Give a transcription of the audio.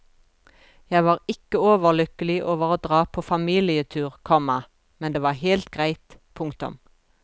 Jeg var ikke overlykkelig over å dra på familietur, komma men det var helt greit. punktum